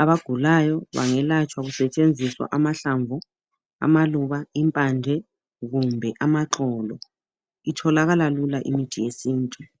abagulayo bangelatshwa kusetshenziswa amahlamvu, amaluba, impande, kumbe amaxolo. Itholakala lula imithi yesintu.